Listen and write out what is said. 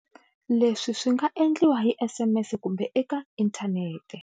Leswi swi nga endliwa hi SMS kumbe eka inthanete.